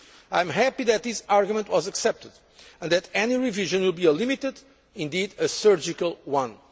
I am happy that this argument was accepted, and that any revision will be a limited indeed a surgical